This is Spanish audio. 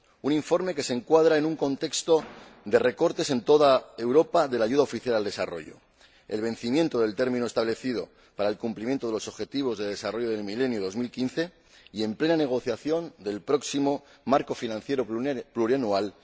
Es un informe que se encuadra en un contexto de recortes en toda Europa de la ayuda oficial al desarrollo, el vencimiento del término establecido para el cumplimiento de los Objetivos de Desarrollo del Milenio 2015, y en plena negociación del próximo marco financiero plurianual